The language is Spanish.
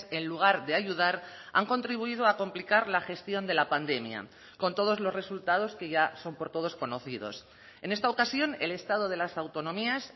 en lugar de ayudar han contribuido a complicar la gestión de la pandemia con todos los resultados que ya son por todos conocidos en esta ocasión el estado de las autonomías